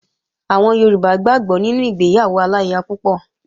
Àwọn Yorùbá gbàgbó nínú ìgbéyàwó aláya púpọ̀